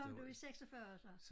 Kom du i 46 så?